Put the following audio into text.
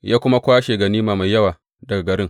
Ya kuma kwashe ganima mai yawa daga garin.